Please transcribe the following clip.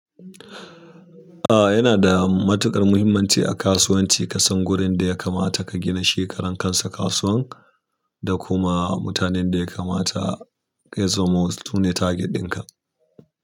A yana da matuƙar muhimmanci a kasuwanci ka san wurin da ya kamata ka gina shi karan kansa kasuwan da kuma mutanen da ya kamata ya zamo su ne target ɗin ka.